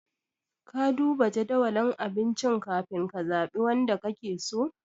Ka duba jadawalin abincin ka fin ka zaɓi wanda ka ke so?